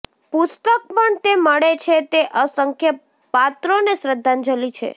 પુસ્તક પણ તે મળે છે તે અસંખ્ય પાત્રોને શ્રદ્ધાંજલિ છે